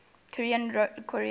south korea deals